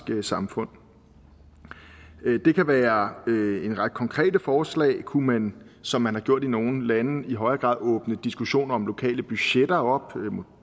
samfund det kan være en række konkrete forslag kunne man som man har gjort i nogle lande i højere grad åbne en diskussion om lokale budgetter